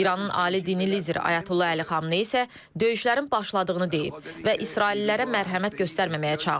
İranın ali dini lideri Ayətullah Əli Xameneyi isə döyüşlərin başladığını deyib və israillilərə mərhəmət göstərməməyə çağırıb.